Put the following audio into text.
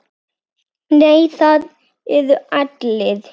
Nei, það eru allir.